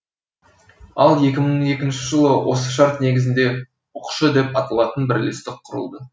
ал екі мың екінші жылы осы шарт негізінде ұқшұ деп аталатын бірлестік құрылды